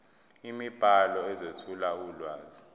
imibhalo ezethula ulwazi